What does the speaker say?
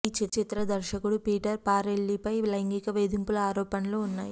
ఈ చిత్ర దర్శకుడు పీటర్ ఫారెల్లీపై లైంగిక వేధింపుల ఆరోపణలూ ఉన్నాయి